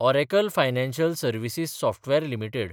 Oracle Financial Services Software limited